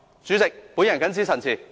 主席，我謹此陳辭。